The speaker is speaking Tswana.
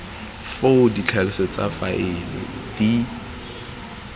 foo ditlhaloso tsa faele di